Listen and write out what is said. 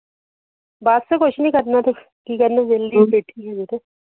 ਬਸ ਕੁਛ ਨੀ ਕਰਨਾ ਤੇ ਕੀ ਕਰਨਾ ਬੇਲੀ ਬੇਠੀ